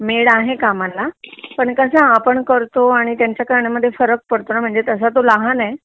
made आहे कमाला पण कसं आपण करतो आणि त्यांच करणं मध्ये फरक पडतो म्हणजे तसं तो लहान आहे